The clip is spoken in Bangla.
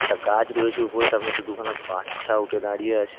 ''একটা গাছ রয়েছে উপরে তার মধ্যে দু''''খানা বা-আচ্ছা উঠে দাঁড়িয়ে আছে।''